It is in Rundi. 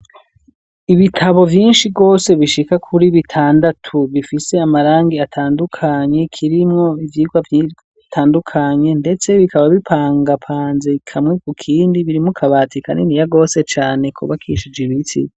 Ibitabo vyinshi bwose bishika kuri bitandatu bifise amarangi atandukanye kirimwo ivyigwa vitandukanye ndetse bikaba bipangapanze ikamwe ku kindi biri mu kabati kanini ya rwose cane kubakishe ibiti.